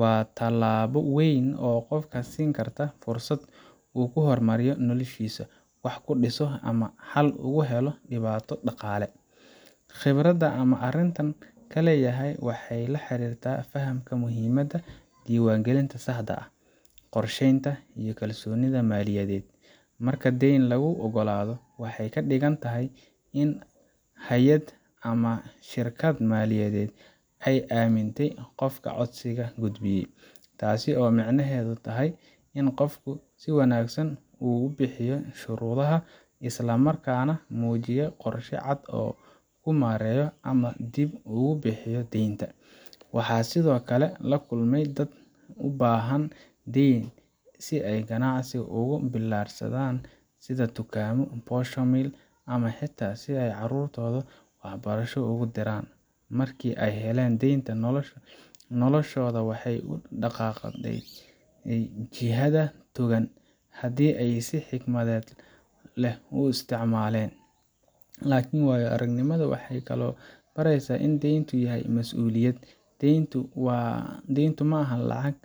Waa tallaabo weyn oo qofka siin karta fursad uu ku horumariyo noloshiisa, wax ku dhiso, ama xal ugu helo dhibaato dhaqaale. Khibradda aan arrintan ka leeyahay waxay la xiriirtaa fahamka muhiimadda diiwaangelinta saxda ah, qorsheynta, iyo kalsoonida maaliyadeed. Marka deyn lagu oggolaado, waxay ka dhigan tahay in hay’ad ama shirkad maaliyadeed ay aamintay qofka codsiga gudbiyey taas oo micnaheedu yahay in qofku si wanaagsan u buuxiyey shuruudaha, isla markaana muujiyey qorshe cad oo uu ku maareynayo ama dib ugu bixinayo deynta. Waxaan sidoo kale la kulmay dad u baahnaa deyn si ay ganacsi uga bilaarsadan, sida tukaanno, posho mill, ama xitaa si ay carruurtooda waxbarasho ugu diraan. Markii ay heleen deynta, noloshooda waxay u dhaqaaqday jihada togan haddii ay si xikmad leh u isticmaaleen. Laakiin waayo aragnimadu waxay kaloo baraysaa in deynku yahay mas'uuliyad. Deyntu ma aha lacag.